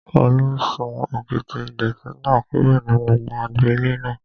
Olú sún òkìtì ìdọ̀ọ̀tí náà kúrò nínú agbo ilé náà